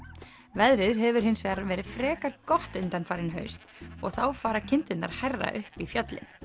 veðrið hefur hins vegar verið frekar gott undanfarin haust og þá fara kindurnar hærra upp í fjöllin